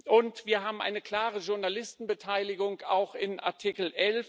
Und wir haben eine klare Journalisten Beteiligung, auch in Artikel